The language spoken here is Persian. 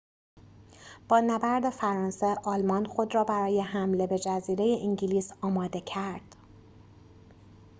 با نبرد فرانسه آلمان خود را برای حمله به جزیره انگلیس آماده کرد